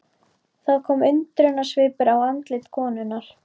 Það kom undrunarsvipur á andlit konunnar.